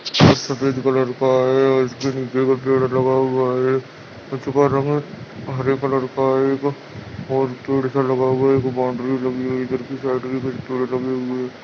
यह सफ़ेद कलर का है और इसके नीचे एक पेड़ लगा हुआ है उसका रंग हरे कलर का है एक और पेड़ सा लगा हुआ है एक बाउंड्री लगी हुई है इधर के साइड भी कुछ पेड़ लगये हुए हैं।